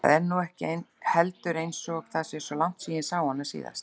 Það er nú heldur ekki einsog það sé svo langt síðan ég sá hana síðast.